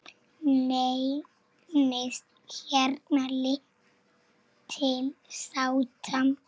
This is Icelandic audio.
Leynist hérna lítil sáta.